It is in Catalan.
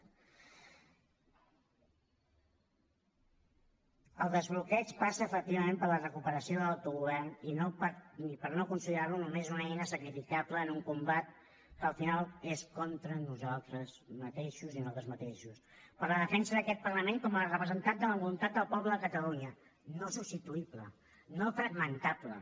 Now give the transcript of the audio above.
el desbloqueig passa efectivament per la recuperació de l’autogovern i no per considerar lo només una eina sacrificable en un combat que al final és contra nosaltres mateixos i nosaltres mateixos per la defensa d’aquest parlament com a representant de la voluntat del poble de catalunya no substituïble no fragmentable